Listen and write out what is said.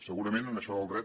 segurament en això del dret